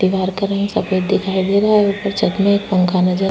दिवार का रंग सफ़ेद दिखाई दे रहा है और ऊपर छत में एक पंखा नज़र--